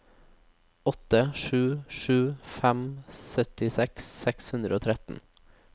åtte sju sju fem syttiseks seks hundre og tretten